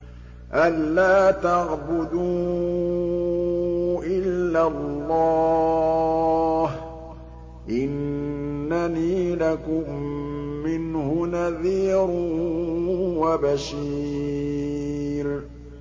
أَلَّا تَعْبُدُوا إِلَّا اللَّهَ ۚ إِنَّنِي لَكُم مِّنْهُ نَذِيرٌ وَبَشِيرٌ